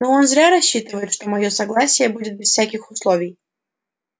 но он зря рассчитывает что моё согласие будет без всяких условий